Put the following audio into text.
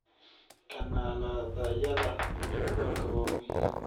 Kanaaladayada rikoodhadu waa muhiim.